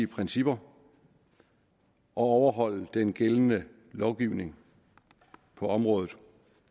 principper og overholde den gældende lovgivning på området